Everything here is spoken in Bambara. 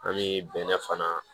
An bɛ bɛnɛ fana